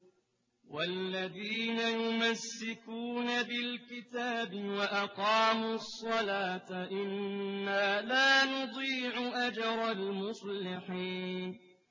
وَالَّذِينَ يُمَسِّكُونَ بِالْكِتَابِ وَأَقَامُوا الصَّلَاةَ إِنَّا لَا نُضِيعُ أَجْرَ الْمُصْلِحِينَ